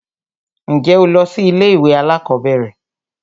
Ǹjẹ́ o lọ sí ilé ìwé alákọ̀berẹ̀?